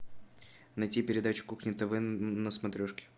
найти передачу кухня тв на смотрешке